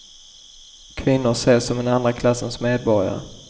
Kvinnor ses som en andra klassens medborgare.